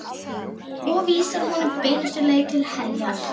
Og vísar honum beinustu leið til heljar.